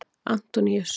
Antoníus